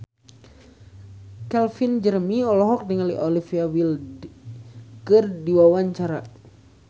Calvin Jeremy olohok ningali Olivia Wilde keur diwawancara